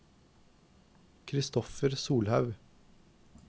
Christopher Solhaug